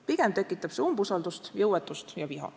–, pigem tekitab see umbusaldust, jõuetust ja viha.